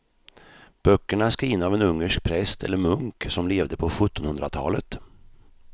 Böckerna är skrivna av en ungersk präst eller munk som levde på sjuttonhundratalet.